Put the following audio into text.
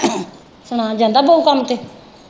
ਸੁਣਾ ਜਾਂਦਾ ਬਉ ਕੰਮ ਤੇ।